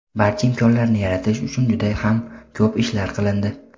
barcha imkonlarni yaratish uchun juda ham ko‘p ishlar qilindi.